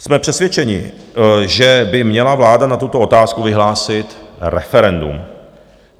Jsme přesvědčeni, že by měla vláda na tuto otázku vyhlásit referendum.